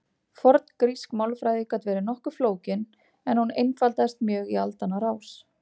forngrísk málfræði gat verið nokkuð flókin en hún einfaldaðist mjög í aldanna rás